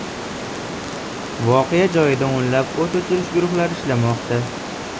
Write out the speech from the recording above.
Voqea joyida o‘nlab o‘t o‘chirish guruhlari ishlamoqda.